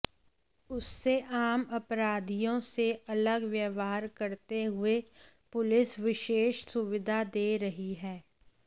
उससे आम अपराधियों से अलग व्यवहार करते हुए पुलिस विशेष सुविधा दे रही है